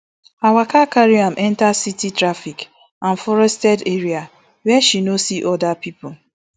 her waka carry am enta city traffic and forested areas wia she no see oda pipo